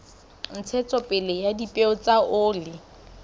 ntshetsopele ya dipeo tsa oli